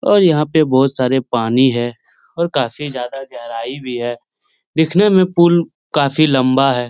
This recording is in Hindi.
और यहाँ पे बहुत सारे पानी है और काफी ज्यादा गहराई भी है दिखने में पुल काफी लम्बा है।